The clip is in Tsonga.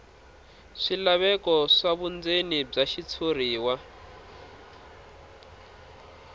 swilaveko swa vundzeni bya xitshuriwa